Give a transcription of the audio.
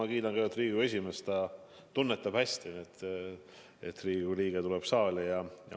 Ja ma kiidan kõigepealt Riigikogu esimeest, ta tunnetab hästi, et Riigikogu liige tuleb saali.